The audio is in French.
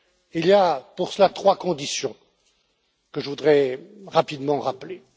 Il y a pour cela trois conditions que je voudrais rapidement rappeler.